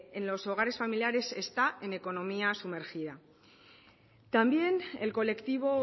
en los hogares familiares está en economía sumergida también el colectivo